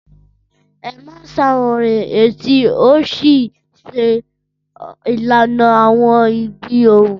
Ẹ máa ń ṣàwárí etí ó sì ń ṣe ìlànà àwọn ìgbì ohùn.